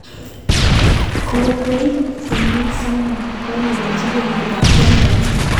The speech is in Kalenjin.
Kokoib konyil somok, kolerchin kenyit ab 2013.